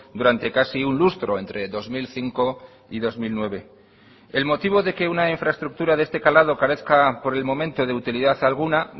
durante casi un lustro entre dos mil cinco y dos mil nueve el motivo de que una infraestructura de este calado carezca por el momento de utilidad alguna